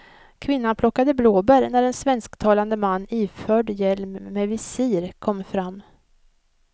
Kvinnan plockade blåbär när en svensktalande man iförd hjälm med visir kom fram.